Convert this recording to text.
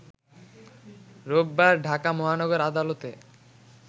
রোববার ঢাকা মহানগর আদালতে